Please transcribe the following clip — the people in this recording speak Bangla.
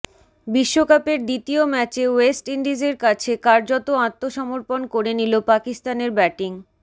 বিশ্বকাপের দ্বিতীয় ম্যাচে ওয়েস্ট ইন্ডিজের কাছে কার্যত আত্মসমর্পণ করে নিল পাকিস্তানের ব্যাটিং